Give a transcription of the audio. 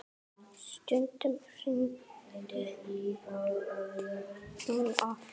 Stundum hringdi hún oft.